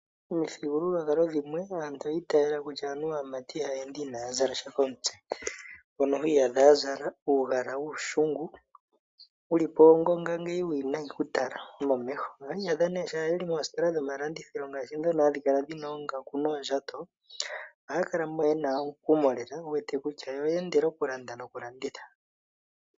Omithigululwakalo dhimwe aantu oyi itayela kutya aamati ihaya ende inaya zala sha komutse mono hwiyadha ya zala uugala wuushungu wulipp wongonga ngeyi uuwinayi ku tala momeho ohwiyadha nee ngaashi yeli moositola dhimalandithilo ngaashi dhono hadhi kala dhina oongaku noondjato ohaya kala mo yena omukumo lela wu wete kutya yo oye endela okulanda nokulanditha.